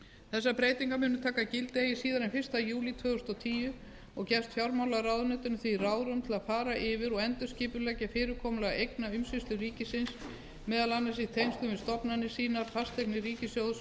þessar breytingar munu taka gildi eigi síðar en fyrsta júlí tvö þúsund og tíu og gefst fjármálaráðuneytinu því ráðrúm til að fara yfir og endurskipuleggja fyrirkomulag eignaumsýslu ríkisins meðal annars í tengslum við stofnanir sínar fasteignir ríkissjóðs